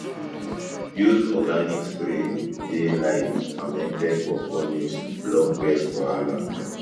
use organic spray dey like fermented pawpaw leaves to block pest wahala